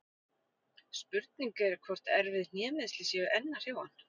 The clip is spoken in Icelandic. Spurning er hvort erfið hnémeiðsli séu enn að hrjá hann?